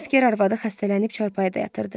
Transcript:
Əsgər arvadı xəstələnib çarpayıda yatırdı.